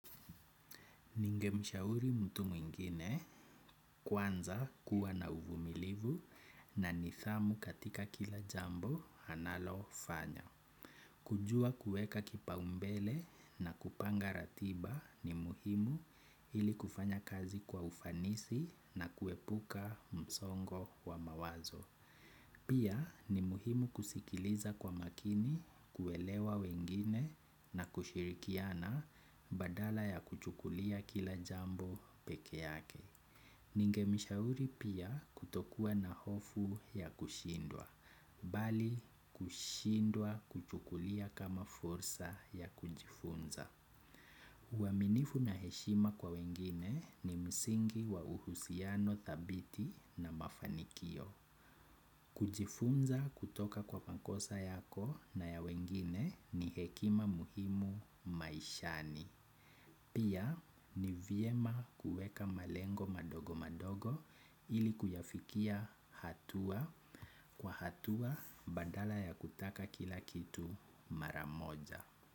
Ningemshauri mtu mwingine kwanza kuwa na uvumilivu na nidhamu katika kila jambo analofanya. Kujua kueka kipaumbele na kupanga ratiba ni muhimu ili kufanya kazi kwa ufanisi na kuepuka msongo wa mawazo. Pia ni muhimu kusikiliza kwa makini kuelewa wengine na kushirikiana badala ya kuchukulia kila jambo peke yake. Ningemshauri pia kutokua na hofu ya kushindwa, bali kushindwa kuchukulia kama fursa ya kujifunza. Uaminifu na heshima kwa wengine ni msingi wa uhusiano thabiti na mafanikio. Kujifunza kutoka kwa makosa yako na ya wengine ni hekima muhimu maishani. Pia ni vyema kuweka malengo madogo madogo ili kuyafikia hatua kwa hatua badala ya kutaka kila kitu mara moja.